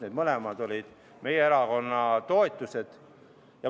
Need mõlemad olid meie erakonna ette pandud toetused.